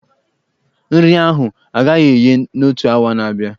Nri ahụ agaghị eghe n'otu awa na-abịa.